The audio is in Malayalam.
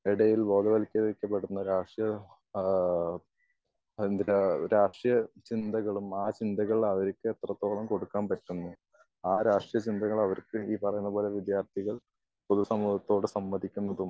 ഇടയിൽ ബോധവത്കരിക്കപ്പെടുന്ന രാഷ്ട്രീയം അ എന്താ രാഷ്ട്രീയ ചിന്തകളും ആ ചിന്തകൾ അവർക്ക് എത്രെത്തോളം കൊടുക്കാൻ പറ്റുന്നു ആ രാഷ്ട്രീയ ചിന്തകൾ അവർക്ക് ഈ പറയുന്ന പോലെ വിദ്യാർഥികൾ പൊതു സമൂഹത്തോട് സംവദിക്കുന്നത്